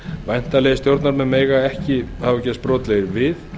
væntanlegir stjórnarmenn mega ekki hafa gerst brotlegir við